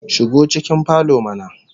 Shigo cikin falo mana